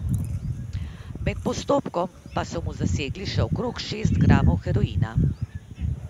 Med postopkom so mu zasegli še okrog šest gramov heroina.